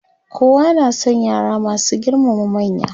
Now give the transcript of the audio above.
kowa na San yara masu girmama manya.